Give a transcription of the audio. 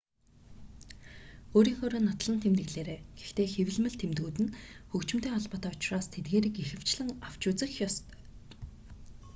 өөрийнхөөрөө нотлон тэмдэглээрэй гэхдээ хэвлэмэл тэмдгүүд нь хөгжимтэй холбоотой учраас тэдгээрийг ихэвчлэн авч үзэх ёстой